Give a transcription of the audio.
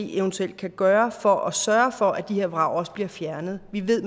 eventuelt kan gøres for at sørge for at de her vrag også bliver fjernet vi ved